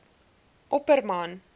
opperman